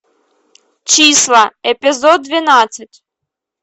числа эпизод двенадцать